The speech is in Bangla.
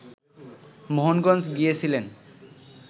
মোহনগঞ্জ গিয়েছিলেন